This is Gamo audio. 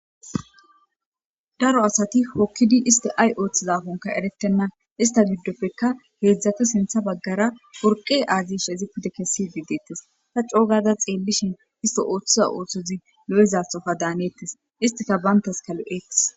daro asati hokkidi isti ay ooththizafonka eretenna ista giddopfekka heedzdzati sintha baggara worqe aazish ezipute kessi bidettes ta coogada xeellishin isti ooththiza oothtozi lo7ezaxofa daaneettes istika bayntas kalo eq